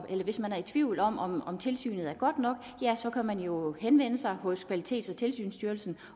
hvis man er i tvivl om om om tilsynet er godt nok kan man jo henvende sig hos kvalitets og tilsynsstyrelsen